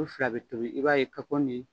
U fila bɛ tobi i b'a ye kapɔn de